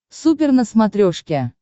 супер на смотрешке